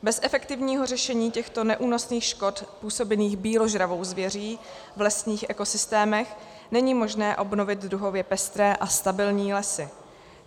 Bez efektivního řešení těchto neúnosných škod působených býložravou zvěří v lesních ekosystémech není možné obnovit druhově pestré a stabilní lesy.